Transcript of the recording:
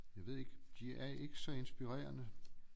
Jeg ved ikke de er ikke så inspirerende